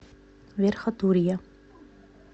верхотурье